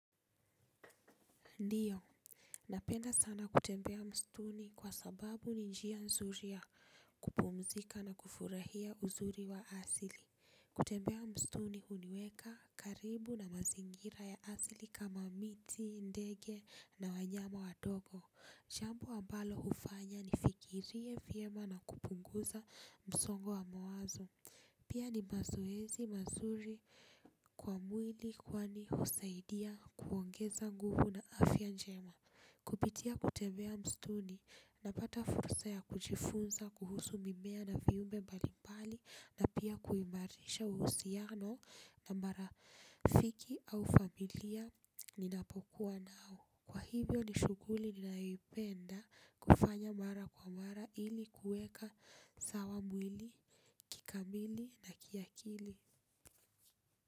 Ndiyo. Napenda sana kutembea mstuni kwa sababu ni njia nzuri ya kupumzika na kufurahia uzuri wa asili. Kutembea mstuni huniweka karibu na mazingira ya asili kama miti ndege na wanyama wadogo, jambo ambalo hufanya nifikirie vyema na kupunguza msongo wa mawazo. Pia ni mazoezi mazuri kwa mwili kwani husaidia kuongeza nguvu na afya njema. Kupitia kutembea msituni napata fursa ya kujifunza kuhusu mimea na viumbe mbalimbali na pia kuimarisha uhusiano na marafiki au familia ninapokuwa nao. Kwa hivyo ni shuguli nanayoipenda kufanya mara kwa mara ili kueka sawa mwili, kikamili na kiakili.